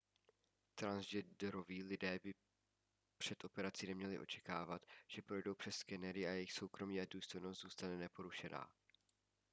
transgenderoví lidé před operací by neměli očekávat že projdou přes skenery a jejich soukromí a důstojnost zůstane neporušená